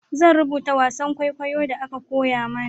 Zan rubuta wasan kwaikwayon da aka koya mana